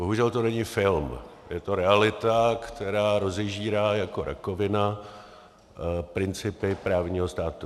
Bohužel to není film, je to realita, která rozežírá jako rakovina principy právního státu.